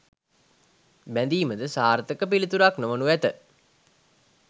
බැඳීමද සාර්ථක පිළිතුරක් නොවනු ඇත.